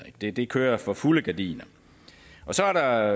det det kører for fulde gardiner så er der